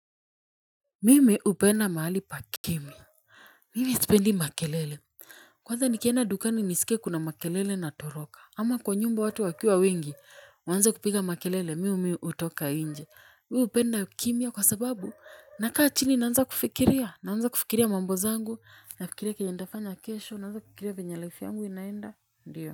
Mimi hupenda mahali pa kimya. Mimi sipendi makelele. Kwanza nikenda dukani nisike kuna makelele na toroka ama kwa nyumba watu wakiwa wengi waanze kupiga makelele mi miu hutoka nje. Mi hupenda kimya kwa sababu na kaa chini naanza kufikiria naanza kufikiria mambo zaangu nafikiria kenye nitafanya kesho naanza kukiria venye life yangu inaenda ndio.